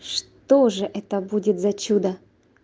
что же это будет за чудо